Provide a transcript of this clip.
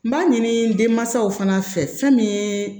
N b'a ɲini denmansaw fana fɛ fɛn min ye